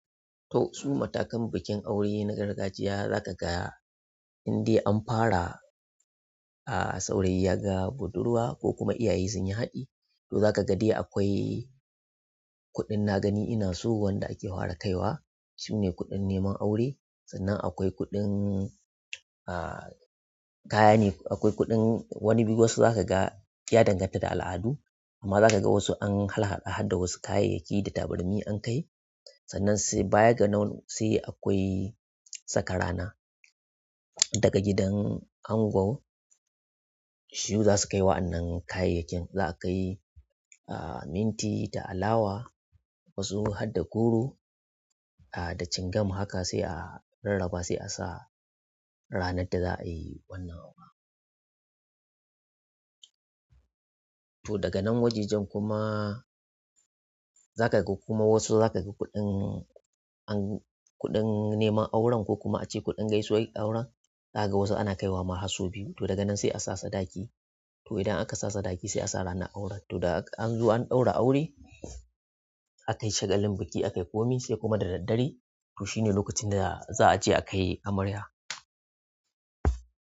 To, su matakan bukin aure na gargajiya zaka ga indai an fara, a saurayi ya ga budurwa ko kuma iyaye sun yi haɗi. To zaka ga dai akwai kuɗin na gani inaso wanda ake fara kaiwa shine kuɗin neman aure. Sannan akwai kuɗin, a kaya ne, akwai kuɗin wani duk wasu zaka ga ya danganta da al'adu. Amma zaka ga wasu an harhaɗa harda wasu kayayyaki da tabarmi an kai. Sannan sai baya ga nan sai akwai saka rana. Daga gidan ango sune zasu kai wa'annan kayayakin. Za a kai ah minti da alawa wasu harda goro ah da cingam haka sai a rarraba sai a sa ranar da za'a yi wannan auren. To daga nan wajejen kuma zaka ga kuma wasu zaka ga kuɗin an kuɗin neman auren ko kuma ace kuɗin gaisuwar auren. Zaka ga wasu ana kaiwa ma har sau biyu. To daga nan sai a sa sadaki. To idan aka sa sadaki sai a sa ranar aure. To da anzo an ɗaura aure, aka yi shagalin buki aka yi komi sai kuma da daddare. To shine lokacin da za a je akai amarya.